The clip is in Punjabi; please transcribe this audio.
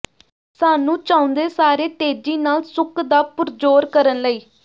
ਸਾਨੂੰ ਚਾਹੁੰਦੇ ਸਾਰੇ ਤੇਜ਼ੀ ਨਾਲ ਸੁੱਕ ਦਾ ਪੁਰਜੋਰ ਕਰਨ ਲਈ